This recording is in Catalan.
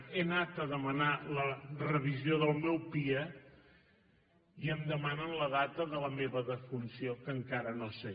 he anat a demanar la revisió del meu pia i em demanen la data de la meva defunció que encara no sé